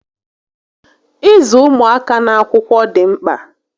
Ịzụ ụmụaka n'akwụkwọ dị mkpà